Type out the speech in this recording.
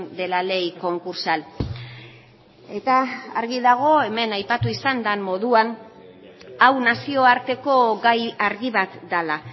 de la ley concursal eta argi dago hemen aipatu izan den moduan hau nazioarteko gai argi bat dela